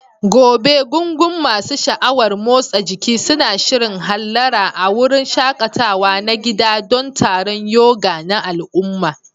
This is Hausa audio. Gobe, gungun masu sha'awar motsa jiki suna shirin hallara a wurin shaƙatawa na gida don taron yoga na al'umma.